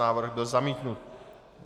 Návrh byl zamítnut.